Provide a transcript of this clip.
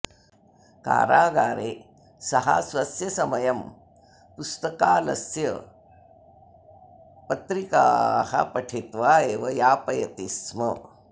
कारागारे सः स्वस्य समयं पुस्तकालस्यस्य पत्रिकाः पठित्वा एव यापयति स्म